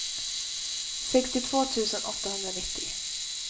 sextiotvå tusen åttahundranittio